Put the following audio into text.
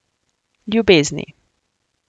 Ljubezni.